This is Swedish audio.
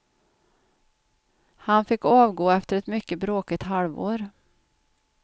Han fick avgå efter ett mycket bråkigt halvår.